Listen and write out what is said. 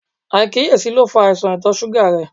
Aikiyesi lo fa aisan ìtọ̀ suga rẹ